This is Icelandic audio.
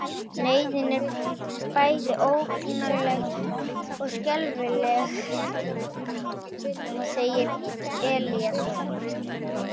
Neyðin er bæði ógnarleg og skelfileg, segir Eliasson.